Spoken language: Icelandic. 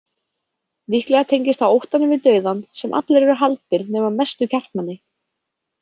Líklega tengist það óttanum við dauðann sem allir eru haldnir nema mestu kjarkmenni.